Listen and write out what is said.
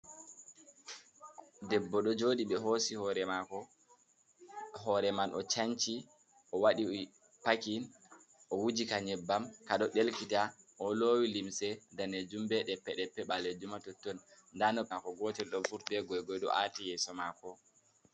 Debbo ɗo jooɗi ɓe hoosi hoore mako, hore man o canci, o waɗi pakin, o wuji ka nyebbam ka ɗo ɗelkita. O lowi limse daneejum be ɗeppe-ɗeppe ɓaleejum ha totton. Nda noppi maako gotel ɗo vurti, be goi-goi ɗo aati yeso mako.